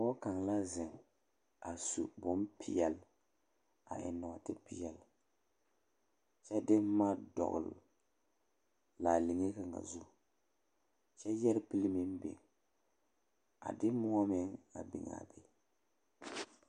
Pɔge kaŋ la zeŋ a su bompeɛle a eŋ nɔɔtepeɛle kyɛ de boma dɔgle laaliŋe kaŋ zu kyɛ yɛre pili meŋ biŋ a de moɔ meŋ a biŋ a be.